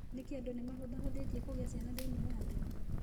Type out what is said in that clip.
Nĩkĩ andũ nĩ mahũthahũthĩtie kũgĩa ciana thĩinĩ wa thĩ?